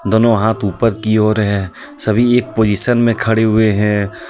दोनो हाथ उपर की और है सभी एक पोजिशन में खड़े हुए हैं. औ--